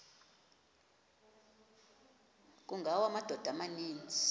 kungawa amadoda amaninzi